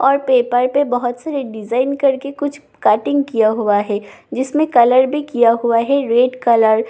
और पेपर पे बहोत सारे डिजाइन करके कुछ कटिंग किया हुआ है जिसमें कलर भी किया हुआ है रेड कलर --